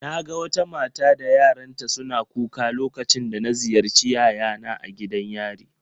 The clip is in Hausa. Naga wata mata da yaranta suna kuka lokacin da na ziyarci yayana a gidan yari